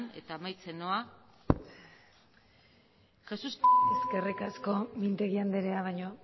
eta amaitzen noa eskerrik asko mintegi andrea baino